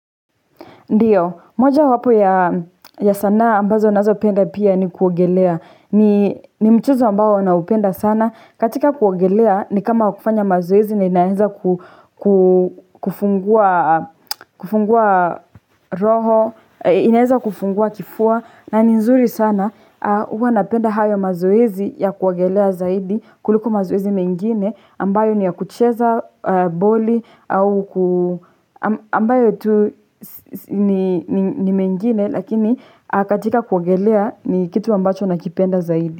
Ndiyo, moja wapo ya sanaa ambazo nazo penda pia ni kuogelea. Ni mchezo ambao na upenda sana. Katika kuogelea ni kama kufanya mazoezi na inaeza kufungua roho, inaeza kufungua kifua. Na ni nzuri sana huwa napenda hayo mazoezi ya kuogelea zaidi kuliko mazoezi mengine ambayo ni ya kucheza boli ambayo tu ni mengine lakini katika kuogelea ni kitu ambacho nakipenda zaidi.